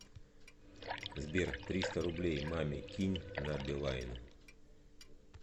сбер триста рублей маме кинь на билайн